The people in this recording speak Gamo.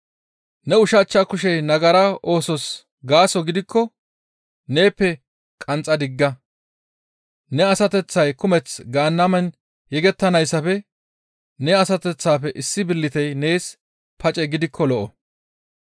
Ne ushachcha kushey nagara oosos gaaso gidikko neeppe qanxxa digga; ne asateththay kumeth Gaannamen yegettanayssafe ne asateththafe issi billitey nees pace gidikko lo7o.